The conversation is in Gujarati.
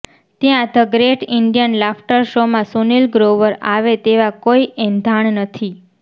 ત્યારે ધ ગ્રેટ ઇન્ડિયન લાફ્ટર શોમાં સુનિલ ગ્રોવર આવે તેવા કોઇ એંધાણ નથી